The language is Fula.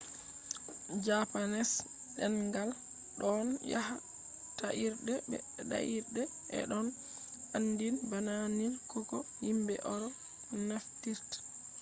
japanese ɗengal ɗon yaha ta'irde be ta'irde e ɗon aandin bana nil do ko yimɓe eropnaftirta